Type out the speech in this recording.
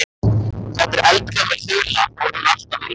Þetta er eldgömul þula þó er hún alltaf ný.